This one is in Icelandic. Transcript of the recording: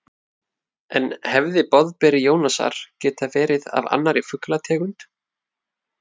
En hefði boðberi Jónasar getað verið af annarri fuglategund?